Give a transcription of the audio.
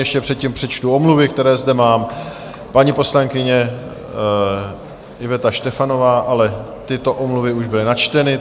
Ještě předtím přečtu omluvy, které zde mám: paní poslankyně Iveta Štefanová..., ale tyto omluvy už byly načteny.